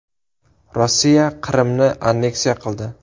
Rossiya Qrimni anneksiya qildi.